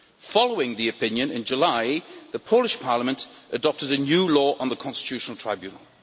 Following the opinion in July the Polish Parliament adopted a new law on the Constitutional Tribunal.